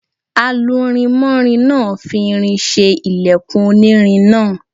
Alurinmọ́rin náà fi irin ṣe ilẹkùn onírin náà.